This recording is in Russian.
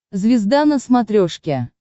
звезда на смотрешке